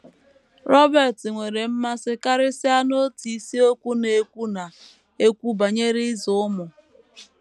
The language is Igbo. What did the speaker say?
Robert nwere mmasị karịsịa n’otu isiokwu na - ekwu na - ekwu banyere ịzụ ụmụ.